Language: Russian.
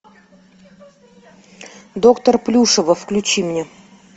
доктор плюшева включи мне